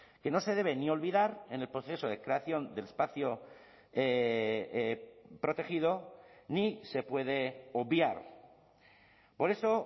que no se debe ni olvidar en el proceso de creación del espacio protegido ni se puede obviar por eso